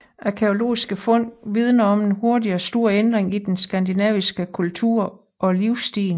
Arkæologiske fund vidner om en hurtig og stor ændring i den skandinaviske kultur og livsstil